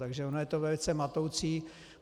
Takže ono je to velice matoucí.